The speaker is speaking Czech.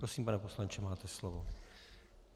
Prosím, pane poslanče, máte slovo.